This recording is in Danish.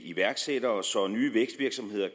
iværksættere så nye vækstvirksomheder